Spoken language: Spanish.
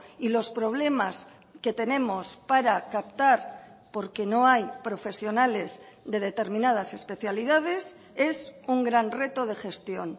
y los problemas que tenemos para captar porque no hay profesionales de determinadas especialidades es un gran reto de gestión